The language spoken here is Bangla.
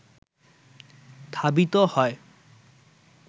ধাবিত হয়